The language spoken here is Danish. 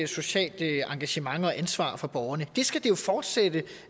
socialt engagement og ansvar for borgerne det skal vi jo fortsætte